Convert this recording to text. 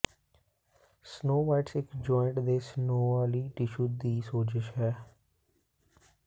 synovitis ਇੱਕ joint ਦੇ synovial tissue ਦੀ ਸੋਜਸ਼ ਹੈ